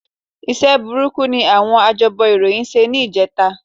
Iṣẹ́ burúkú ni àwọn ajábọ̀ ìròyìn ṣe ní ìjẹta